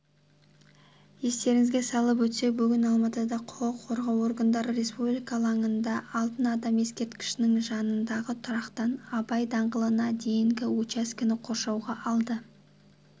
естеріңізге салып өтсек бүгін алматыда құқық қорғау органдары республика алаңында алтын адам ескерткішінің жанындағы тұрақтан абай даңғылына дейінгі учаскені қоршауға алды